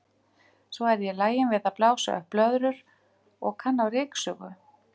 Svo er ég lagin við að blása upp blöðrur og og kann á ryksugu.